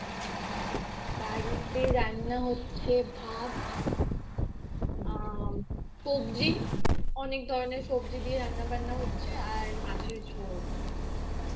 বাড়িতে রান্না হচ্ছে ভাত আ সবজি অনেক ধরনের সবজি দিয়ে রান্না বান্না হচ্ছে আর মাছের ঝোল